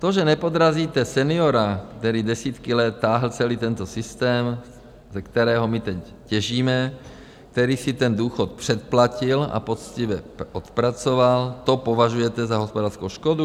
To, že nepodrazíte seniora, který desítky let táhl celý tento systém, ze kterého my teď těžíme, který si ten důchod předplatil a poctivě odpracoval, to považujete za hospodářskou škodu?